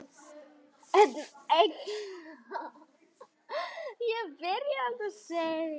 Einnig áttu þeir færri börn en fjórmenningar og fimmmenningar.